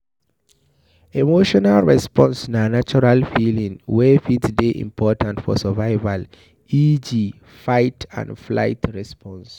Emotional response na natural feeling wey fit dey important for survivial eg fight and flight response